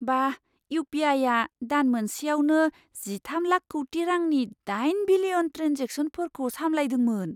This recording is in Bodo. बा! इउ पि आइआ दान मोनसेयावनो जिथाम लाख कौटि रांनि दाइन बिलियन ट्रेन्जेकशनफोरखौ सामलायदोंमोन।